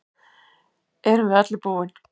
Erum við öllu búin